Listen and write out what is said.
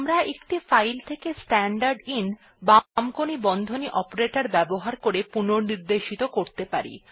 আমরা একটি ফাইল থেকে স্ট্যান্ডারদিন ltবামকোণী বন্ধনী অপারেটর ব্যবহার করে পুনঃনির্দেশিত করতে পারি